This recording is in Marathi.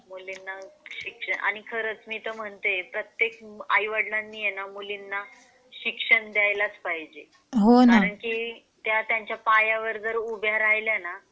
मुलींना शिक्षण आणि खरच मी तर म्हणते ना प्रत्येक आई-वडिलांनी मुलींना शिक्षण. द्यायलाच पाहजे कारण कि त्या त्यांच्या पायावर जर उभ्या राहिल्याने